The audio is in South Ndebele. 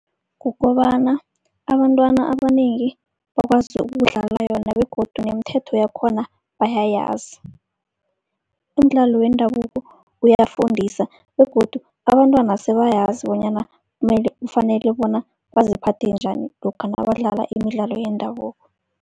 Kukobana abantwana abanengi bakwazi ukudlala yona begodu nemithetho yakhona bayayazi. Umdlalo wendabuko uyafundisa begodu abantwana sebayazi bonyana kumele, kufanele bona baziphathe njani lokha nabadlala imidlalo yendabuko.